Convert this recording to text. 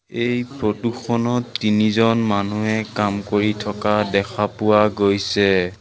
এই ফটো খনত তিনিজন মানুহে কাম কৰি থকা দেখা পোৱা গৈছে।